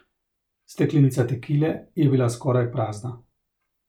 Steklenica tekile je bila skoraj prazna.